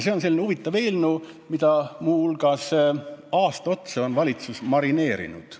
See on selline huvitav eelnõu, mida muu hulgas on valitsus aasta otsa marineerinud.